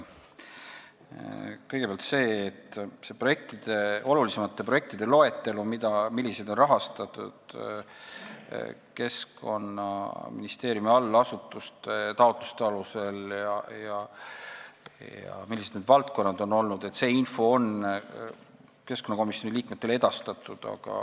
Kõigepealt, olulisemate projektide loetelu, see info, milliseid projekte on rahastatud Keskkonnaministeeriumi allasutuste taotluste alusel ja millised on olnud need valdkonnad, on keskkonnakomisjoni liikmetele edastatud.